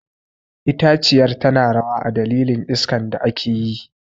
Itaciyar tana rawa a dalilin iskan da ake yi.